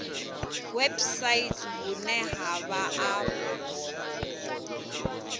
website vhune ha vha afho